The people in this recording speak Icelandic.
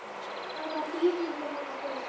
Hvaða þýðingu hafa þau?